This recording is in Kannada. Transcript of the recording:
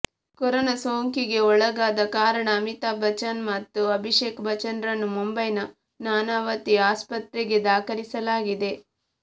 ಕೊರೋನಾ ಸೋಂಕಿಗೆ ಒಳಗಾದ ಕಾರಣ ಅಮಿತಾಬ್ ಬಚ್ಚನ್ ಮತ್ತು ಅಭಿಷೇಕ್ ಬಚ್ಚನ್ರನ್ನು ಮುಂಬೈನ ನಾನಾವತಿ ಆಸ್ಪತ್ರೆಗೆ ದಾಖಲಿಸಲಾಗಿದೆ